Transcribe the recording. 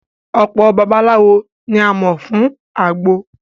Ọ̀pọ babaláwo ni a mọ̀ fún àgbo